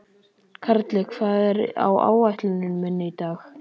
Karli, hvað er á áætluninni minni í dag?